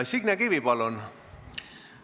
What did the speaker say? Signe Kivi, palun!